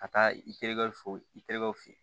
Ka taa i terikɛw fo i terikɛw fɛ yen